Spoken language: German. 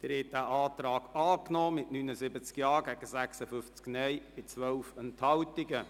Sie haben den Antrag angenommen mit 79 Ja- gegen 56 Nein-Stimmen bei 12 Enthaltungen.